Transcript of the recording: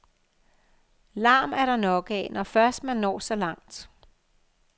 Larm er der nok af, når først man når så langt.